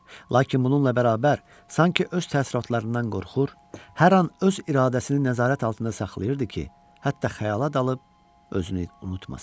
Lakin bununla bərabər, sanki öz təəssüratlarından qorxur, hər an öz iradəsini nəzarət altında saxlayırdı ki, hətta xayala dalıb özünü unutmasın.